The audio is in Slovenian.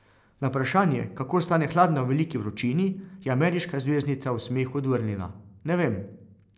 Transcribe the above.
Na vprašanje, kako ostane hladna v veliki vročini, je ameriška zvezdnica v smehu odvrnila: "Ne vem.